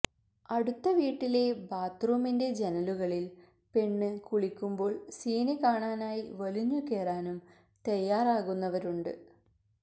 അടുത്ത വീട്ടിലെ ബാത്റൂമിന്റെ ജനലുകളിൽ പെണ്ണ് കുളിക്കുമ്പോൾ സീൻ കാണാനായി വലിഞ്ഞുകേറാനും തയ്യാറാകുന്നവരുണ്ട്